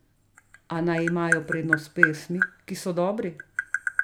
A naj imajo prednost pesmi, ki so dobri.